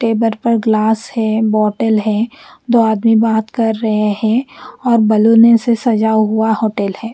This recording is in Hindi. टेबल पर ग्लास है बॉटल है दो आदमी बात कर रहे है और बलूने से सजा हुआ हॉटेल है।